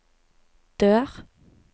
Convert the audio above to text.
dør